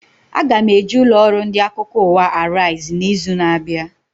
Aga m eje ụlọ ọrụ ndị akụkọ ụwa Arise na izu na abịa